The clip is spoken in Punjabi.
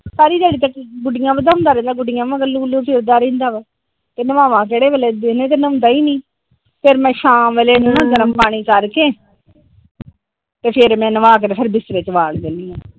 ਸਾਰੀ ਦਿਹਾੜੀ ਤਾ ਗੁਡੀਆਂ ਵਧਾਉਂਦਾ ਰਹਿੰਦਾ ਗੁਡੀਆਂ ਮਗਰ ਲੁ ਲੁ ਫਿਰਦਾ ਰਹਿੰਦਾ ਆ ਤੇ ਨਵਾਵਾਂ ਕਿਹੜੇ ਵੇਲੇ ਦਿਨੇ ਤੇ ਨਹੋਂਦਾਂ ਈ ਨੀ ਫਿਰ ਸ਼ਾਮ ਵੇਲੇ ਮੈ ਗਰਮ ਪਾਣੀ ਕਰਕੇ ਤੇ ਫਿਰ ਨਵਾਂਕੇ ਤੇ ਫਿਰ ਬਿਸਤਰੇ ਚ ਵੜ੍ਹ ਦਿੰਦੀ ਆ ।